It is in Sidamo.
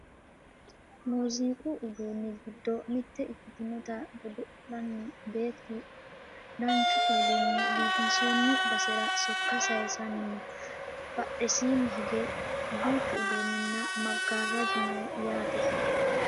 muziiqu uduunni giddo mitte ikkitinota godo'lanni beettu danchun kuulini biifinsoonni basera sokka sayiisanni no badhesiini hige duuchu uduunninna maggaarraju no yaate